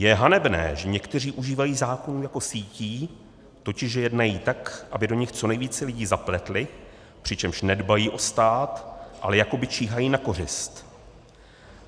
Je hanebné, že někteří užívají zákonů jako sítí, totiž že jednají tak, aby do nich co nejvíce lidí zapletli, přičemž nedbají o stát, ale jakoby číhají na kořist.